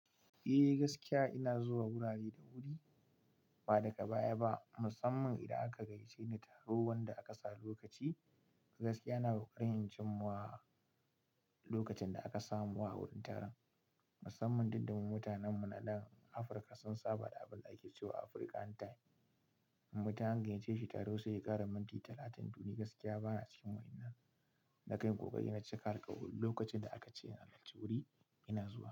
Eh gaskiya ina zuwa wurare da wuri ba daga baya ba mussaman idan aka gayyace ni taro wanda aka sa lokaci. Gaskiya ina ƙoƙarin in cin muwa lokacin da aka sama wa wurin taron. Musamman duk da mu mutanen mu na nan Afirka sun saba da abin da ake cewa Afirkan time, mutum an gayyace shi taro sai ya ƙara minti talatin, to ni gaskiya ba na cikin wannan. Na kan yi kokari na cika alkawari, lokacin da aka ce na halarci wuri, ina zuwa.